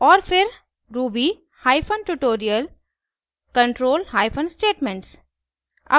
और फिर ruby hyphen tutorial control hyphen statements